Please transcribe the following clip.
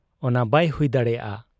ᱚᱱᱟ ᱵᱟᱭ ᱦᱩᱭ ᱫᱟᱲᱮᱭᱟᱜ ᱟ ᱾